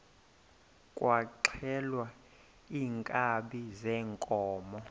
kwaxhelwa iinkabi zeenkomo